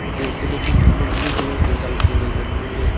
jeh anto ley ding thak blue colour zang chu ngan ngo ley.